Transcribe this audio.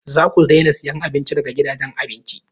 Za ku daina siyan abinci daga gidajen abinci!